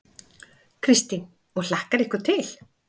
Kristín: Og hlakkar ykkur til?